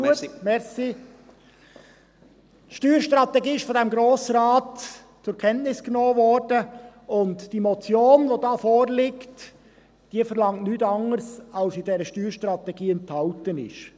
– Die Steuerstrategie wurde vom Grossen Rat zur Kenntnis genommen, und die vorliegende Motion verlangt nichts anderes als das, was in der Steuerstrategie enthalten ist.